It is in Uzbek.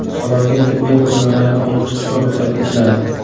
Salonga tibbiy qurilmalarni olib chiqishga ruxsat etiladi.